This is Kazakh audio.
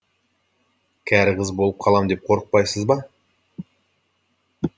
кәрі қыз болып қалам деп қорықпайсыз ба